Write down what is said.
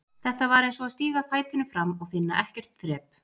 Þetta var eins og að stíga fætinum fram og finna ekkert þrep.